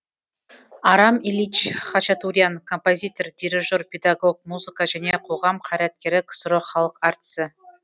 арам ильич хачатурян композитор дирижер педагог музыка және қоғам қайраткері ксро халық әртісі